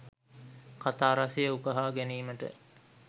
කතා රසය උකහා ගැනීමට